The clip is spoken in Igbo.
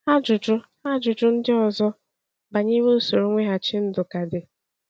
Ajụjụ Ajụjụ ndị ọzọ banyere usoro mweghachi ndụ ka dị.